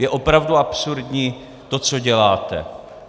Je opravdu absurdní to, co děláte.